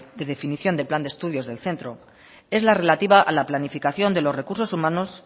de definición del plan de estudios del centro es la relativa a la planificación de los recursos humanos